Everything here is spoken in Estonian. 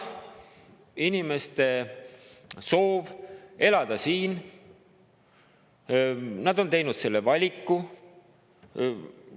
Osa inimeste soov siin elada, nad on teinud selle valiku.